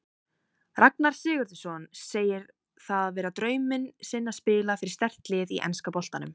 Ragnar Sigurðsson segir það vera drauminn sinn að spila fyrir sterkt lið í enska boltanum.